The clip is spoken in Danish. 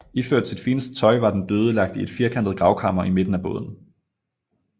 Iført sit fineste tøj var den døde lagt i et firkantet gravkammer i midten af båden